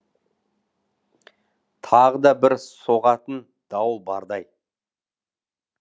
тағы да бір соғатын дауыл бардай